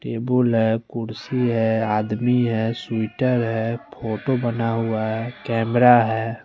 Table है कुर्सी है आदमी है स्वीटर है फोटो बना हुआ है केमरा है।